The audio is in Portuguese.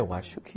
Eu acho que...